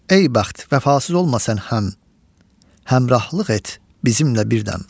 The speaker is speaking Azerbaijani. Ey bəxt, vəfasız olma sən həm, həmrühlıq et bizimlə birdən.